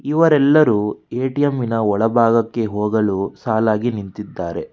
ಇವರೆಲ್ಲರೂ ಏ_ಟಿ_ಎಂ ನ ಒಳಭಾಗಕ್ಕೆ ಹೋಗಲು ಸಾಲಾಗಿ ನಿಂತಿದ್ದಾರೆ.